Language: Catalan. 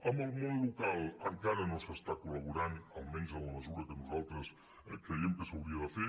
amb el món local encara no s’està col·laborant almenys en la mesura que nosaltres creiem que s’hauria de fer